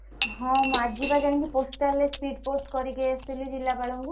ହଁ ମୁଁ ଆଜି ବା ଯାଇଁକି postal ରେ speed post କରିକି ଆସିଲି ଜିଲ୍ଲାପାଳଙ୍କୁ।